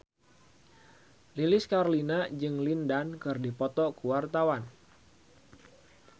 Lilis Karlina jeung Lin Dan keur dipoto ku wartawan